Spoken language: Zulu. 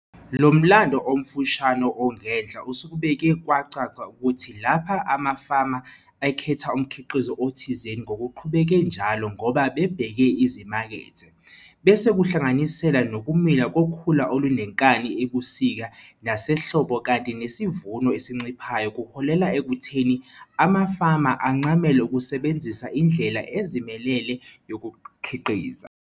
Lo mlando omfushane ongenhla usukubeke kwacaca ukuthi lapho amafama ekhetha umkhiqizo othizeni ngokuqhubeke njalo ngoba bebheke izimakethe, bese kuhlanganisela nokumila kokhula olunenkani ebusika nasehlobo kanti nesivuno esinciphayo kuholela ekutheni amafama ancamele ukusebenzisa indlela ezimelele yokukhiqiza.